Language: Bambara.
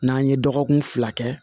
N'an ye dɔgɔkun fila kɛ